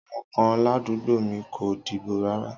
Àwon kan ládùgbómìi ko dìbò rárá